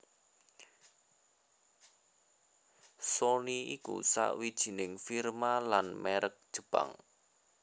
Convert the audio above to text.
Sony iku sawijining firma lan mèrek Jepang